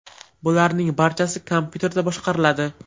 Bularning barchasi kompyuterda boshqariladi.